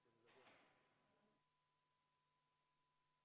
Nii, tundub, et me oleme tehnilised probleemid seljatanud ja saame uuesti hääletuse juurde minna.